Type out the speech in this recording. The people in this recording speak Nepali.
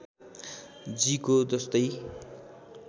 जी को जस्तै